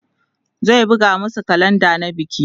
zai buga masu kalenda na biki